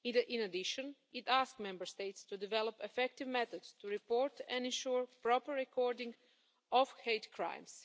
In addition, it asked Member States to develop effective methods to report and ensure proper recording of hate crimes.